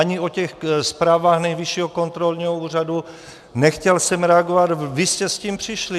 Ani o těch zprávách Nejvyššího kontrolního úřadu, nechtěl jsem reagovat, vy jste s tím přišli.